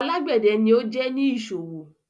Alágbedẹ̀ ni o jẹ́ ni iṣọwọ